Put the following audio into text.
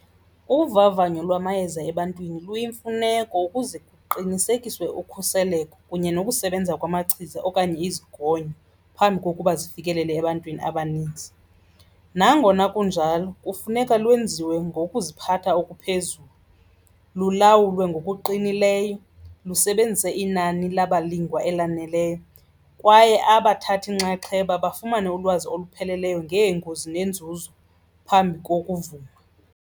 Uvavanyo lwamayeza ebantwini luyimfuneko ukuze kuqinisekiswe ukhuseleko kunye nokusebenza kwamachiza okanye izigonyo phambi kokuba zifikelele ebantwini abaninzi. Nangona kunjalo kufuneka lwenziwe ngokuziphatha okuphezulu, lulawulwe ngokuqinileyo, lusebenzise inani labalingwa elaneleyo kwaye abathatha inxaxheba bafumane ulwazi olupheleleyo ngeengozi nenzuzo phambi kokuvuma.